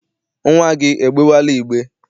Nnwa gị egbewela igbe?